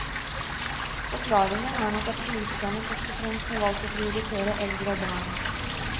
Forklaringen er nok at politikerne først og fremst har valgt å prioritere eldre og barn.